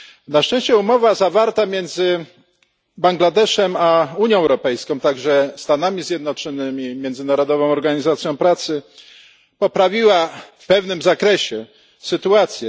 Na szczęście umowa zawarta między Bangladeszem a Unią Europejską, a także Stanami Zjednoczonymi i Międzynarodową Organizacją Pracy poprawiła w pewnym zakresie sytuację.